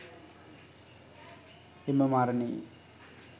එම මරණයේ